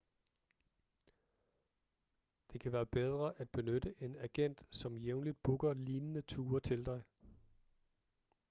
det kan være bedre at benytte en agent som jævnligt booker lignende ture til dig